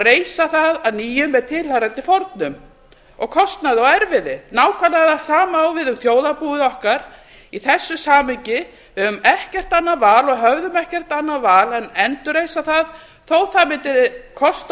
reisa það að nýju með tilheyrandi fórnum og kostnaði og erfiði nákvæmlega það sama á við um þjóðarbúið okkar í þessu samhengi við höfum ekkert annað val og höfðum ekkert annað val en endurreisa það þó það mundi kosta